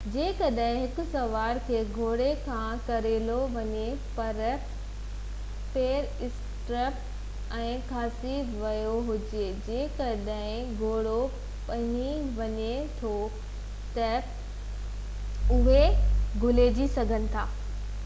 جيڪڏهن هڪ سوار کي گهوڙي کان ڪيرايو وڃي پر پير اسٽرپ ۾ ڦاسي ويو هجي جيڪڏهن گهوڙو ڀڄي وڃي ٿو ته اهي گهيلجي سگهن ٿا اهو خدشو گھٽ ڪرڻ لاءِ ڪيترائي حفاظتي اپاءَ وٺي سگهجن ٿا